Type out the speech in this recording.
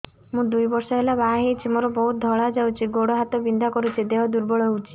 ମୁ ଦୁଇ ବର୍ଷ ହେଲା ବାହା ହେଇଛି ମୋର ବହୁତ ଧଳା ଯାଉଛି ଗୋଡ଼ ହାତ ବିନ୍ଧା କରୁଛି ଦେହ ଦୁର୍ବଳ ହଉଛି